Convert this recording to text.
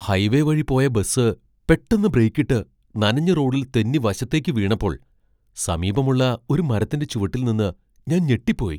ഹൈവേവഴി പോയ ബസ് പെട്ടെന്ന് ബ്രേക്കിട്ട് നനഞ്ഞ റോഡിൽ തെന്നി വശത്തേക്ക് വീണപ്പോൾ സമീപമുള്ള ഒരു മരത്തിന്റെ ചുവട്ടിൽ നിന്ന ഞാൻ ഞെട്ടിപ്പോയി .